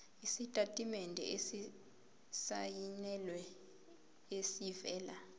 isitatimende esisayinelwe esivela